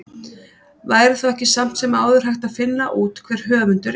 Væri þá ekki samt sem áður hægt að finna út hver höfundur er?